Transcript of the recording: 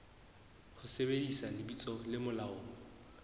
ho sebedisa lebitso le molaong